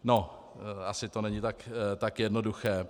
No, asi to není tak jednoduché.